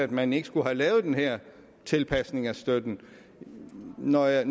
man ikke skulle have lavet den her tilpasning af støtten når jeg